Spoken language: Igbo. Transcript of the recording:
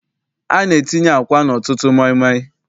A na-etinye àkwá n'ọtụtụ maịmaị.